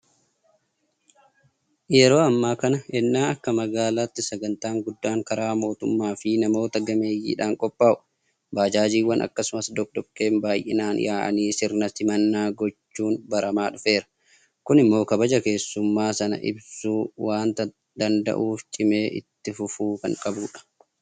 Yeroo ammaa kana ennaa akka magaalaatti sagantaan guddaan karaa mootummaafi namoota gameeyyiidhaan qophaa'u baajaajiiwwan akkasumas doqdoqqeen baay'inaan yaa'anii sirna simannaa gochuun baramaa dhufeera. Kun immoo kabaja keessummaa sanaa ibsuu waanta danda'uuf cimee itti fufuu kan qabudha.